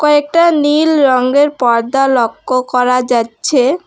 একটা নীল রঙের পর্দা লক্ষ করা যাচ্ছে।